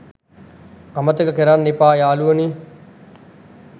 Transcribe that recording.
අමතක කරන්න එපා යාලුවනේ